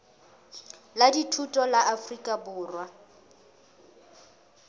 la dithuto la afrika borwa